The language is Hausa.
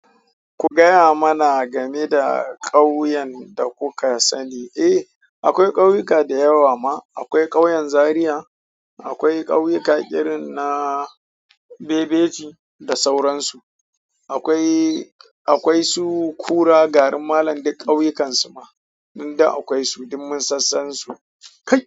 Ku gaya mana game da ƙauyen da kuka sani. Eh, akwai ƙauyuka da yawa ma. Akwai ƙauyen zariya, akwai ƙauyuka irin na bebeji da sauran su. Akwai. Akwai su ƙura garin Malam duk ƙauyukansu ma. Nan duk akwai su, dun mun sassansu. Kai.